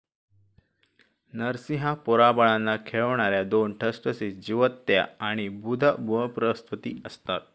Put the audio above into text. नरसिंहा पोराबाळांना खेळवणाऱ्या दोन ठसठसीत जिवत्याआणि बुध बृहस्पती असतात